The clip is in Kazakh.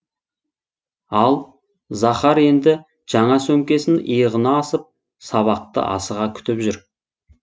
ал захар енді жаңа сөмкесін иығына асып сабақты асыға күтіп жүр